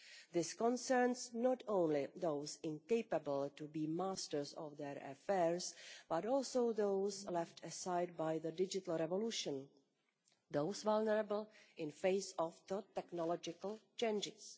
This concerns not only those incapable of being masters of their affairs, but also those left aside by the digital revolution, those vulnerable in the face of technological changes.